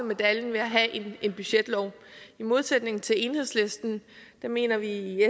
medaljen ved at have en budgetlov i modsætning til enhedslisten mener vi i